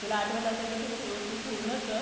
तुला आठवत असेल तर तू पूर्ण कर तुला आठवत असेल तर तू पूर्ण कर